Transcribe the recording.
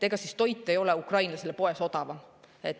Ega siis toit ei ole ukrainlasele poes odavam.